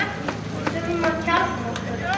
Við þurfum að kjarna okkur